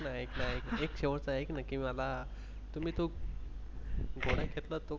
ऐक ना एक शेवटचा एक नक्की मला तुम्ही